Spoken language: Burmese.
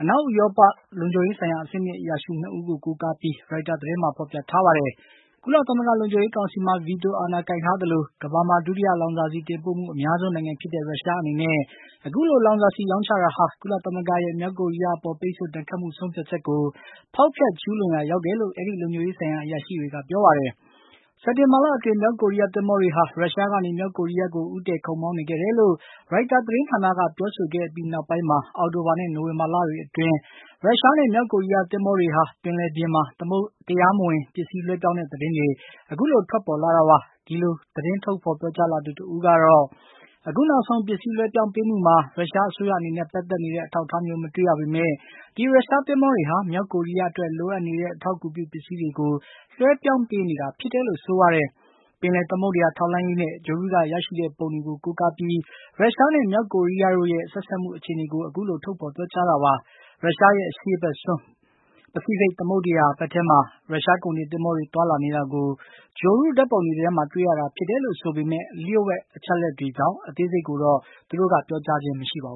အနောက်ဥရောပက လုံခြုံရေးဆိုင်ရာအဆင့်မြင့်အရာရှိ ၂ ဦးကို ကိုးကားပြီး ရိုက်တာသတင်းမှာ ဖော်ပြထားပါတယ်။ ကုလသမဂ္ဂလုံခြုံရေးကောင်စီမှာ ဗီတိုအာဏာကိုင်ထားသလို ကမ္ဘာမှာ ဒုတိယလောင်စာဆီတင်ပို့မှုအများဆုံး နိုင်ငံဖြစ်တဲ့ ရုရှားအနေနဲ့ အခုလို လောင်စာဆီရောင်းချတာဟာ ကုလသမဂ္ဂရဲ့ မြောက်ကိုရီးယားအပေါ် ပိတ်ဆို့ဒဏ်ခတ်မှုဆုံးဖြတ်ချက်ကို ဖောက်ဖျက် ကျူးလွန်မှုဖြစ်တယ်လို့ အဲဒီ လုံခြုံရေးဆိုင်ရာ အရာရှိတွေက ပြောပါတယ်။ စက်တင်ဘာလအတွင်း မြောက်ကိုရီးယားသင်္ဘောတွေဟာ ရုရှားကနေ မြောက်ကိုရီးယားကို ဦးတည်ခုတ်မောင်းနေခဲ့တယ်လို့ ရိုက်တာသတင်းဌာနက ပြောဆိုခဲ့အပြီး နောက်ပိုင်းမှာ အောက်တိုဘာနဲ့ နိုဝင်္ဘာလအတွင်း ရုရှားနဲ့ မြောက်ကိုရီးယားသင်္ဘောတွေဟာ ပင်လယ်ပြင်မှာ တရားမဝင်ပစ္စည်းလွှဲပြောင်းတဲ့ သတင်းတွေ ထွက်ပေါ်လာတာပါ။ အခုလို သတင်းထုတ်ဖေါ်ပြောကြားလာသူ တဦးကတော့ အခုနောက်ဆုံး ပစ္စည်း လွှဲပြောင်းပေးမှုမှာ ရုရှားအစိုးရအနေနဲ့ ပတ်သက်နေတဲ့ အထောက်အထားမျိုး မတွေ့ရပေမယ့် ဒီရုရှားသင်္ဘောတွေဟာ မြောက်ကိုရီးယားအတွက် လိုအပ်နေတဲ့ အထောက်အကူပြုပစ္စည်းတွေကို လွှဲပြောင်းပေးနေတာဖြစ်တယ်လို့ ဆိုပါတယ်။ ပင်လယ်သမုဒ္ဒရာ ထောက်လှမ်းရေးနဲ့ ဂြိုဟ်တုကရရှိတဲ့ပုံတွေကို ကိုးကားပြီး ရုရှားနဲ့ မြောက်ကိုရီးယားတို့ရဲ့ ဆက်စပ်မှုကို အခုလို ထုတ်ဖေါ်ပြောကြားတာပါ။ ရုရှားရဲ့ အရှေ့ဖက်စွန်း ပစိဖိတ်သမုဒ္ဒရာဘက်ထဲမှာ ရုရှား ကုန်တင်သင်္ဘောတွေ သွားလာနေတာကို ဂြိုဟ်တုဓါတ်ပုံတွေထဲမှာ တွေ့ရတာဖြစ်တယ်လို့ဆိုပေမယ့် လျှို့ဝှက်အချက်အလက်တွေဖြစ်တာကြောင့် အသေးစိတ်ကိုတော့ သူတို့က ပြောကြားခြင်းမရှိပါဘူး